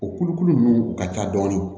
O kulukulu ninnu u ka ca dɔɔni